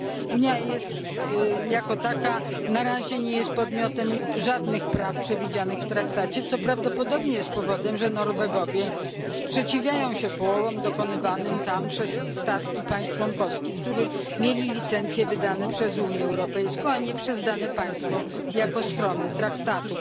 Unia jako taka na razie nie jest podmiotem żadnych praw przewidzianych w traktacie, co prawdopodobnie jest powodem, że Norwegowie sprzeciwiają się połowom dokonywanym tam przez statki państw członkowskich, które miały licencje wydane przez Unię Europejską, a nie przez dane państwo jako stronę traktatu.